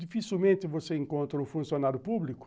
Dificilmente você encontra um funcionário público